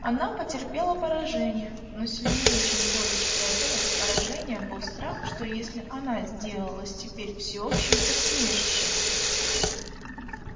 она потерпела поражение но сильнее чем горечь этого поражения был страх что если она сделалась теперь всеобщим посмешищем